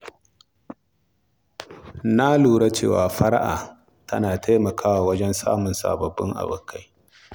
Na lura cewa fara'a tana taimakawa wajen samun sababbin abokai.